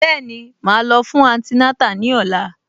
Bẹ́ẹ̀ni, màá lọ fún antinátà ní ọ̀la